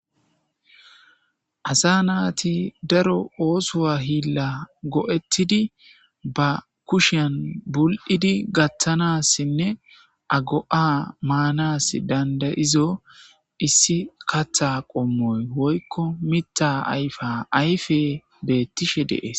Asa naati daro oosowa hiilla go,ettidi ba kushian bul,idi gaththanassinne ago7a maanas dandayizo issi katha qommoy woykko mitta ayfa ayfe beettishe dees.